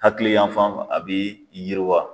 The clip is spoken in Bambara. Hakili yanfan fɛ a bɛ yiri wa.